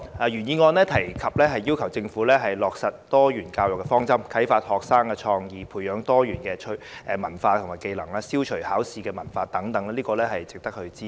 原議案促請政府落實多元教育的方針，以啟發學生創意，培養他們多元志趣和技能，並消除應試文化等，值得支持。